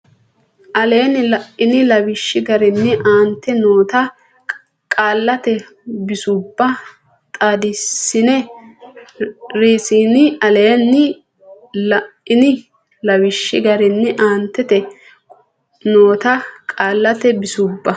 aleenni la ini lawishshi garinni aantete noota qaallate bisubba xaadissinne Rsn aleenni la ini lawishshi garinni aantete noota qaallate bisubba.